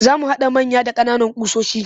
Za mu haɗa manya da ƙananan ƙusoshi